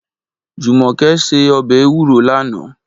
Jumoke sé òbè éwúró làná